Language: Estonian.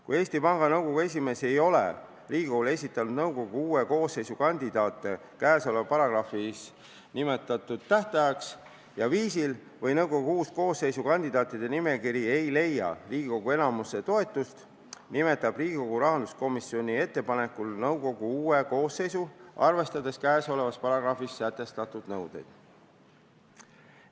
Kui Eesti Panga Nõukogu esimees ei ole Riigikogule nõukogu uue koosseisu kandidaate seaduses nimetatud tähtajaks ja viisil esitanud või kui nõukogu koosseisu kandidaatide nimekiri ei leia Riigikogu enamuse toetust, nimetab Riigikogu rahanduskomisjoni ettepanekul nõukogu uue koosseisu, arvestades kõnealuses seaduses sätestatud nõudeid.